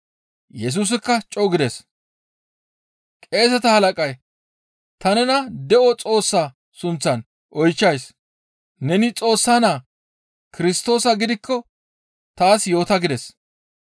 Yesusikka co7u gides. Qeeseta halaqay, «Ta nena de7o Xoossaa sunththan oychchays! Neni Xoossa naa Kirstoosa gidikko taas yoota!» gides.